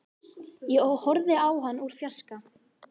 Ég horfði á hann úr fjarska.